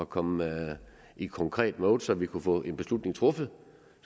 komme i et konkret mode så vi kunne få en beslutning truffet